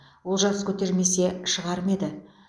олжас көтермесе шығар ма еді